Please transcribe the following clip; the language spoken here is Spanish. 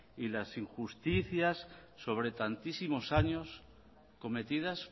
y las injusticias sobre tantísimos años cometidas